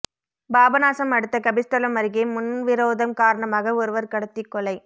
பாபநாசம் அடுத்த கபிஸ்தலம் அருகே முன்விரோதம் காரணமாக ஒருவர் கடத்தி கொலை